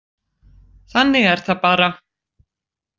Þannig er það bara.